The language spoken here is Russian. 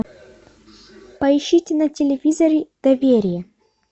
поищите на телевизоре доверие